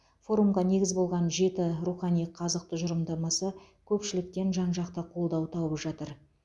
форумға негіз болған жеті рухани қазық тұжырымдамасы көпшіліктен жан жақты қолдау тауып жатыр